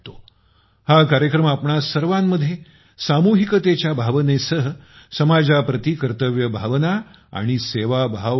हा कार्यक्रम आपणा सर्वांमध्ये सामूहिकतेच्या भावनेसह समाजाप्रती कर्तव्यभावना आणि सेवा भाव भरतो